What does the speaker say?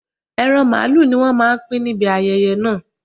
Ẹran màlúù ni wọ́n máa pín níbi ayẹyẹ náà